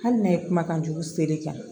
Hali ne ye kumakan jugu seri kɛ